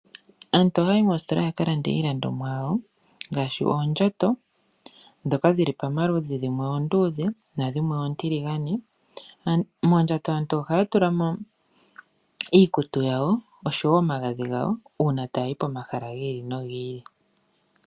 Aantu oha yayi mositola yaka lande iilandomwa yawo, ngashi oondjato, dhoka dhili pomaludhi, dhimwe oondudhe nadhimwe otiligane, mondjato aantu ohaya tulamo iikutu yawo, oshowo omagadhi gawo uuna tayayi pomahala gili nogili.